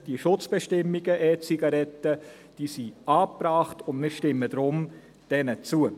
Die Schutzbestimmungen zu den E-Zigaretten sind angebracht, und deshalb stimmen wir diesen zu.